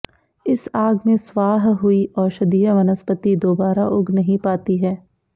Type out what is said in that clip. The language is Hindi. इस आग में स्वाह हुई औषधीय वनस्पति दोबारा उग नहीं पाती है